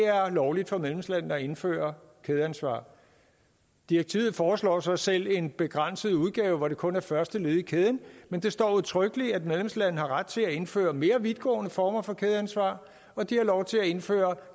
lovligt for medlemslandene at indføre kædeansvar direktivet foreslår så selv en begrænset udgave hvor det kun er første led i kæden men det står udtrykkeligt at medlemslande har ret til at indføre mere vidtgående former for kædeansvar og at de har lov til at indføre